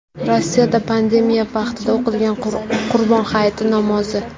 Rossiyada pandemiya vaqtida o‘qilgan Qurbon hayiti namozi.